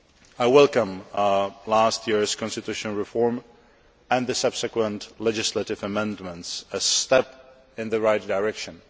I welcome last year's constitutional reform and the subsequent legislative amendments as a step in the right direction.